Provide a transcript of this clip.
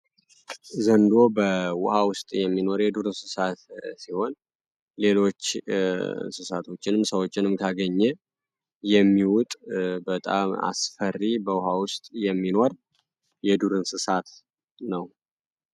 ዘንዶ በውሃ ውስጥ የሚኖር የዱር እንስሳት ሲሆን ሌሎች እንስሳቶችንም ሰዎችንም ታገኘ የሚውጥ በጣም አስፈሪ በውሃ ውስጥ የሚኖር የዱርእንስሳት ነው።